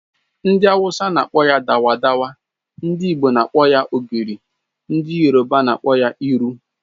Ndi awusa n'akpọ ya dawa dawa, ndị Igbo n'akpọ ya ogiri, ndị yoroba n'akpọ ya iru